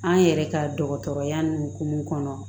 An yɛrɛ ka dɔgɔtɔrɔya nin hukumu kɔnɔ